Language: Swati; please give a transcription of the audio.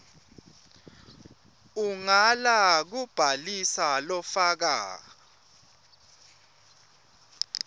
ungala kubhalisa lofaka